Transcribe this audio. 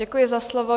Děkuji za slovo.